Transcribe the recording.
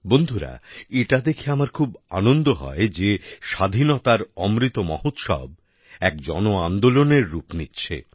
বন্ধুরা এটা দেখে আমার খুব আনন্দ হয় যে স্বাধীনতার অমৃত মহোৎসব এক জনআন্দোলনের রূপ নিচ্ছে